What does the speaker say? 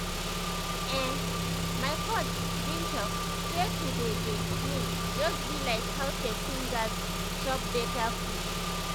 ehn my coach bin talk say to dey dey clean just bi like how pesin gas chop beta food